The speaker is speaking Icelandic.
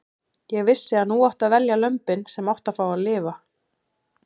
Ég vissi að nú átti að velja lömbin sem áttu að fá að lifa.